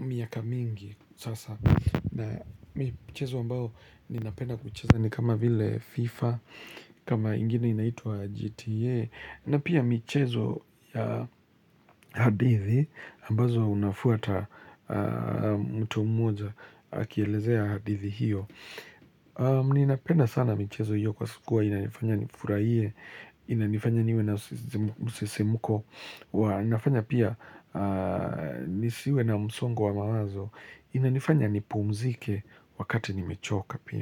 miaka mingi sasa. Na michezo ambao ninapenda kucheza ni kama vile FIFA, kama ingine inaitwa GTA. Na pia michezo ya hadithi ambazo unafuata mtu mmoja akielezea hadithi hiyo. Mni inapenda sana michezo hiyo kwa siku huwa inanifanya nifurahie Inanifanya niwe na msisimuko inafanya pia nisiwe na msongo wa mawazo Inanifanya ni pumzike wakati ni mechoka pia.